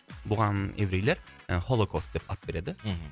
бұған еврейлер ы холокост деп ат береді мхм